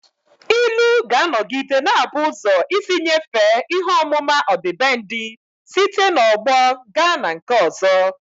Ilu ga-anọgide na-abụ ụzọ isi nyefee ihe ọmụma ọdịbendị site n'ọgbọ gaa na nke ọzọ